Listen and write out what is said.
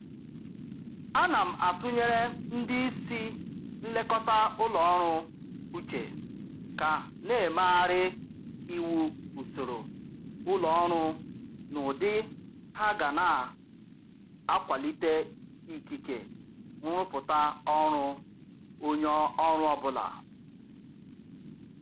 Ana m atụnyere ndị isi nlekọta n'ụlọ ọrụ uche ka na-emegharị iwu usoro ụlọ ọrụ n'ụdị ha ga na-akwalite ikike nrụpụta ọrụ onye ọrụ ọbụla